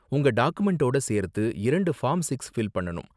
உங்க டாக்குமென்ட்டோட சேர்த்து இரண்டு ஃபார்ம் சிக்ஸ ஃபில் பண்ணனும்.